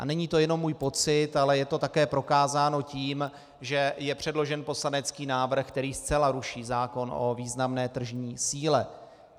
A není to jenom můj pocit, ale je to také prokázáno tím, že je předložen poslanecký návrh, který zcela ruší zákon o významné tržní síle.